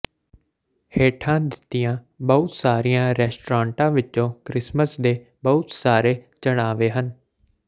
ਹੇਠਾਂ ਦਿੱਤੀਆਂ ਬਹੁਤ ਸਾਰੀਆਂ ਰੈਸਟੋਰੈਂਟਾਂ ਵਿਚ ਕ੍ਰਿਸਮਸ ਦੇ ਬਹੁਤ ਸਾਰੇ ਚੜ੍ਹਾਵੇ ਹਨ